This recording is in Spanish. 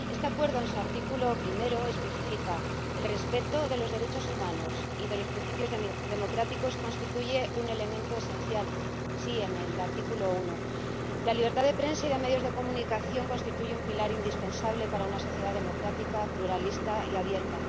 Este Acuerdo, en su artículo 1, especifica que el respeto de los derechos humanos y de los principios democráticos constituye un elemento esencial. Sí, en el artículo 1. La libertad de prensa y de medios de comunicación constituye un pilar indispensable para una sociedad democrática, pluralista y abierta.